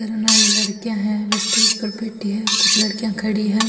लड़किया है वे स्टेज पर बैठी है कुछ लड़किया खड़ी है।